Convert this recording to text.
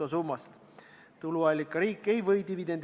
Aga ma küsin tuleviku mõttes ja protokolli huvides.